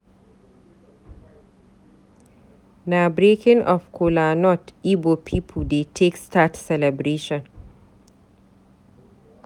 Na breaking of cola nut Ibo pipu dey take start celebration.